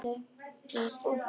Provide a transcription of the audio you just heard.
Svona, út með þig!